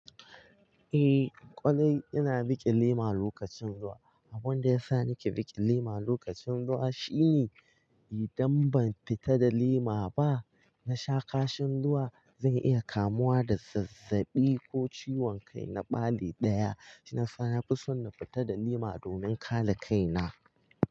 Eh, kwarai ina riƙe lema lokacin ruwa. Abunda yasa nake riƙe lema lokacin ruwa shine idan ban fita da lema ba, nasha kashin ruwa zan iya kamuwa da zazzaɓi ko ciwon kai na ɓali ɗaya. Shina sa na fi son na fita da lema domin kare kai na.